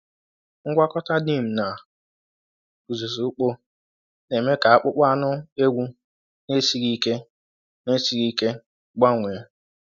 Ngwakọta neem na uzuzu ukpo na-eme ka akpụkpọ anụ ewu na-esighị ike na-esighị ike gbanwee.